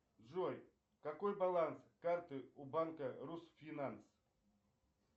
джой какой баланс карты у банка русфинанс